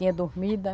Tinha dormida.